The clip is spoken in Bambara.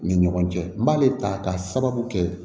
Ni ɲɔgɔn cɛ n b'ale ta ka sababu kɛ